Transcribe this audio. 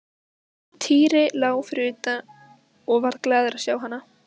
Týri lá fyrir utan og varð glaður að sjá hana.